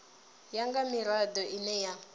ya nga mirado ine ya